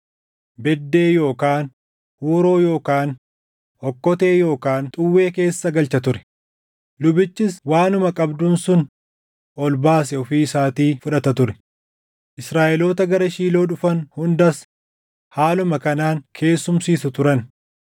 beddee yookaan huuroo yookaan okkotee yookaan xuwwee keessa galcha ture; lubichis waanuma qabduun sun ol baase ofii isaatii fudhata ture. Israaʼeloota gara Shiiloo dhufan hundas haaluma kanaan keessumsiisu turan.